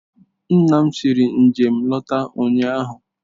Nna ya siri njem lọta ụnyahụ.